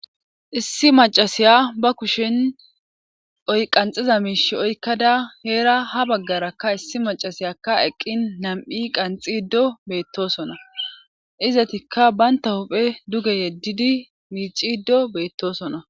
Issi macasiya ba kushin oy qanxiza miish oykkada heera ha baggarakka issi macasiyakka eqqin nam7i qanxi ddo beettosona izatikka baynta huphe duge yeddidi miiciddo beettosona